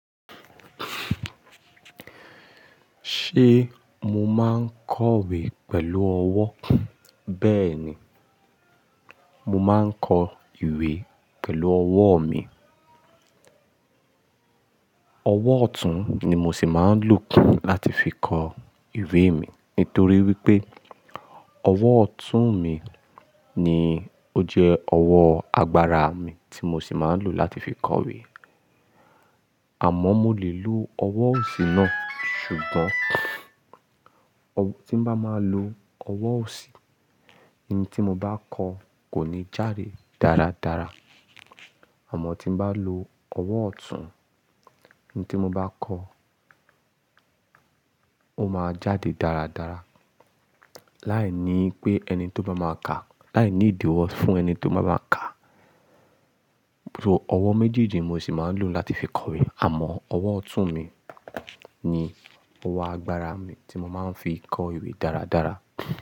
Ṣé mo máa ń kọ ìwé pẹ̀lú ọwọ́? Bẹ́ẹ̀ ni, mo máa ń kọ ìwé pẹ̀lú ọwọ́ mi. Ọwọ́ ọ̀tún ni mo sì máa ń lò láti fi kọ ìwé mi. Nítorí wípé ọwọ́ ọ̀tún mi ni ó jẹ́ ọwọ́ agbára mi tí mo sì máa ń lò láti fi kọ ìwé. Àmọ́ mo lè lo ọwọ́ òsì náà, ṣùgbọ́n tí n bá máa lo ọwọ́ òsì, ohun tí mo bá kọ kò ní jáde dáradára. Àmọ́ tí n bá lo ọwọ́ ọ̀tún, ohun tí mo bá kọ, ó máa jáde dáradára. Láìní pé ẹni tó bá máa kà á, láìní ìdíwọ́ fún ẹni tó bá máa kà á. Ọwọ́ méjì ni mo sì máa ń lò láti fi kọ ìwé. Àmọ́ ọwọ́ ọ̀tún mi ni ọwọ́ agbára mi tí mo máa ń fi kọ ìwé dáradára.